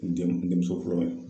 N dem denmuso fɔlɔ ye